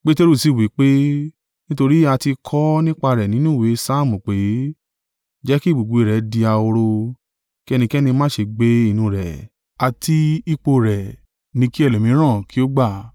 Peteru sì wí pé, “Nítorí a ti kọ ọ́ nípa rẹ̀ nínú Ìwé Saamu pé, “ ‘Jẹ́ ki ibùgbé rẹ̀ di ahoro, kí ẹnikẹ́ni má ṣe gbé inú rẹ̀,’ àti, “ ‘Ipò rẹ̀ ni kí ẹlòmíràn kí ó gbà.’